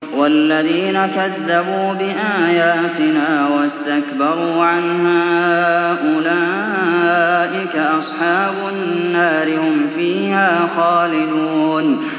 وَالَّذِينَ كَذَّبُوا بِآيَاتِنَا وَاسْتَكْبَرُوا عَنْهَا أُولَٰئِكَ أَصْحَابُ النَّارِ ۖ هُمْ فِيهَا خَالِدُونَ